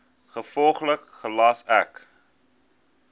gevolglik gelas ek